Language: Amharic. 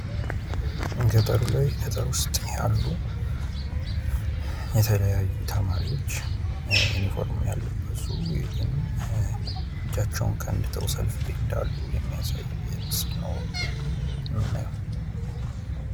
ገጠሩ ላይ ገጠር ውስጥ ያሉ የተለያዩ ተማሪዎች ዩኒፎርም ያለበሱ ግን እጃቸውን ከንድተው ሰልፍ ላይ እንዳሉ የሚያሳይ ምስል ነው ምናየው።